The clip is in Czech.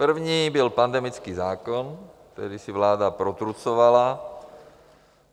První byl pandemický zákon, který si vláda protrucovala.